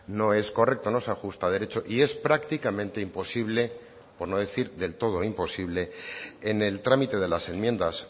no es correcto no se ajusta a derecho y es prácticamente imposible por no decir del todo imposible en el trámite de las enmiendas